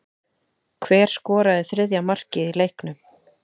Hver skoraði þriðja markið í leiknum?